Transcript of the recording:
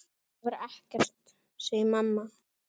Það var ekkert, segir mamma.